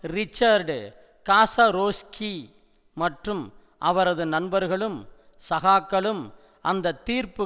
Richard Kaczorowski மற்றும் அவரது நண்பர்களும் சகாக்களும் அந்த தீர்ப்பு